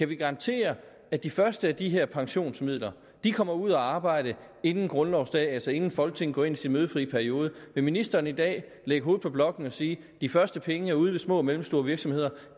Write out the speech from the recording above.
ville garantere at de første af de her pensionsmidler kommer ud at arbejde inden grundlovsdag altså inden folketinget går ind i sin mødefri periode vil ministeren i dag lægge hovedet på blokken og sige de første penge er ude hos små og mellemstore virksomheder